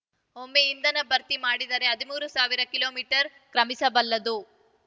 ಒಮ್ಮೆ ಇಂಧನ ಭರ್ತಿ ಮಾಡಿದರೆ ಹದಿಮೂರು ಸಾವಿರ ಕಿಲೋ ಮೀಟರ್ ಕ್ರಮಿಸಬಲ್ಲದು